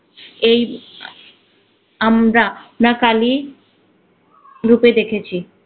এই আমদা না কালী রূপে দেখেছি।